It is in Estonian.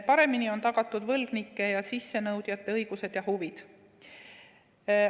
Paremini on tagatud võlgnike ja sissenõudjate õigused ja huvid.